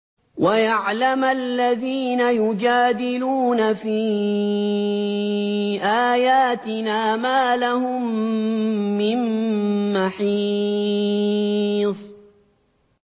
وَيَعْلَمَ الَّذِينَ يُجَادِلُونَ فِي آيَاتِنَا مَا لَهُم مِّن مَّحِيصٍ